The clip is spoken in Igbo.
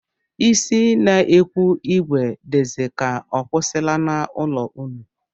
Isi n'ekwu ìgwè dịzi ka ọ kwụsịwala n'ụlọ unu?